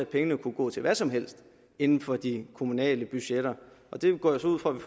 pengene kunne gå til hvad som helst inden for de kommunale budgetter det går jeg ud fra at vi